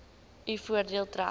u voordeel trek